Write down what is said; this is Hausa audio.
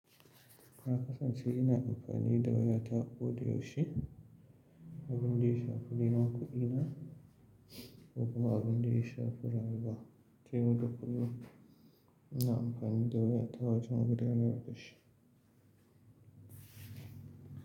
Na kasance ina amfani da wayata ko da yaushe, abin da ya shafi neman kuɗina ko kuma abin da ya shafi rayuwa ta yau da kullim, ina amfani da wayata wajen gudanar da shi.